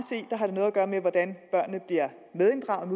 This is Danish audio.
gøre med hvordan børnene bliver medinddraget